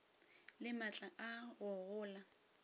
le maatla a go gola